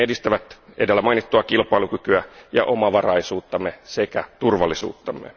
Ne edistävät edellä mainittua kilpailukykyä ja omavaraisuuttamme sekä turvallisuuttamme.